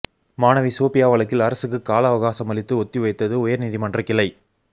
மாணவி சோபியா வழக்கில் அரசுக்கு கால அவகாசமளித்து ஒத்திவைத்தது உயர்நீதிமன்ற கிளை